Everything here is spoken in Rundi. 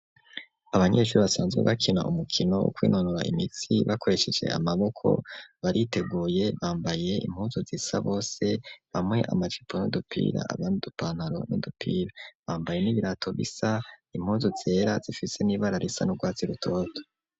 Abanyeshuri basanzwe bakina umukino wo kwinonora imitsi, bakoresheje amaboko bariteguye bambaye impunzu zisa bose, bamwe amacipo nidupira, abandupantaro n'udupira bambaye n'ibirato bisa, impunzu zera, zifise n'ibara risa n'urwatsi rutoto.